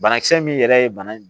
Banakisɛ min yɛrɛ ye bana in